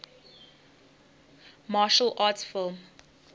martial arts film